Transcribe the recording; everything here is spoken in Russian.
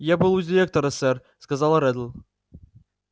я был у директора сэр сказала реддл